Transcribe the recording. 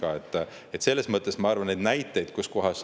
Ma arvan, et neid näiteid.